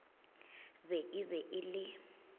be e be e le